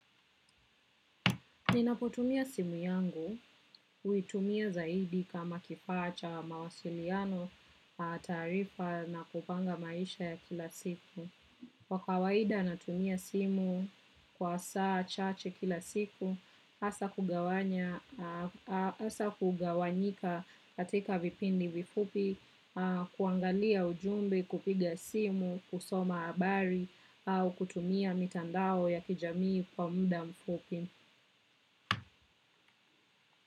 Ninapotumia simu yangu, huitumia zaidi kama kifaa cha mawasiliano, taarifa na kupanga maisha ya kila siku. Wakawaida natumia simu kwa saa chache kila siku, asa kugawanyika katika vipindi vifupi, kuangalia ujumbe kupiga simu, kusoma habari au kutumia mitandao ya kijamii kwa mda mfupi.